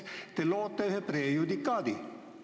Te loote ühe prejudikaadi!